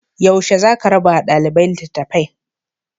Yaushe za a rabawa ɗaliba litattafai?